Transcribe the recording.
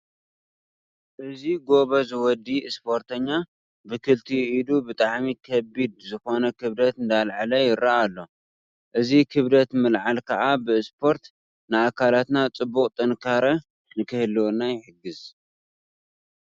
እዚ ጎበዝ ወዲ እስፖርታኛ ብክልቲኡ ኢዱ ብጣዕሚ ከቢድ ዝኮነ ክብደት እንዳልዐለ ይርአ ኣሎ። እዚ ክብደት ምልዓል ከዓ ብእስፖርቲ ንኣካላትና ፅቡቅ ጥንካረ ንክህልወና ይሕግዝ።